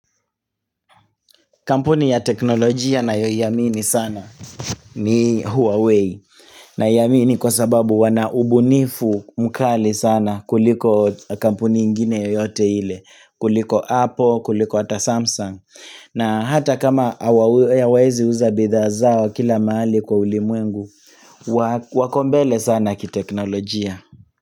Kampuni ya teknolojia nayoiamini sana ni Huawei na yamini kwa sababu wanaubunifu mkali sana kuliko kampuni ingine yoyote ile kuliko Apple, kuliko ata Samsung na hata kama hawa hawayaezi uza bidhaa zao kila mahali kwa ulimwengu wa wako mbele sana ki teknolojia.